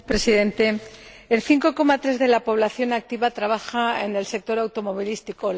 Señor Presidente, el 5,3 de la población activa trabaja en el sector automovilístico.